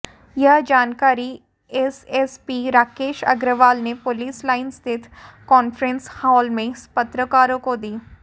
यह जानकारी एसएसपी राकेश अग्रवाल ने पुलिस लाइन स्थित कांफ्रेंस हाल में पत्रकारों को दी